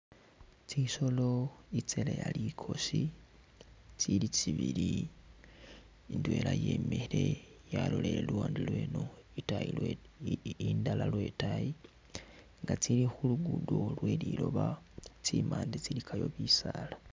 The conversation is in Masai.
Tsisolo itseleya likoosi tsili tsibili indwela yemikhile yalolele luwande lweno, otwayi lweno, indala lwetaayi nga tsili khuligudo lwelilooba tsimande tsilikayo bisaala.